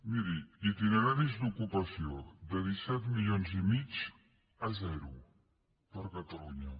miri itineraris d’ocupació de disset coma cinc milions a zero per a catalunya